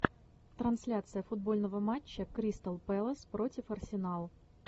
трансляция футбольного матча кристал пэлас против арсенал